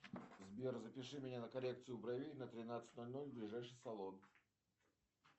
сбер запиши меня на коррекцию бровей на тринадцать ноль ноль в ближайший салон